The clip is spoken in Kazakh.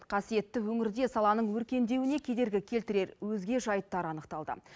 қасиетті өңірде саланың өркендеуіне кедергі келтірер өзге жайттар анықталды